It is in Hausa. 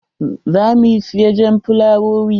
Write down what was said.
Za mu siya jan fulawowi.